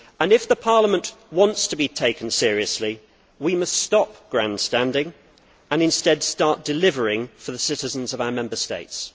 If the Parliament wants to be taken seriously, we must stop grandstanding and instead start delivering for the citizens of our Member States.